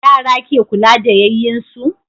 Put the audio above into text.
Yara ke kula da yayyin su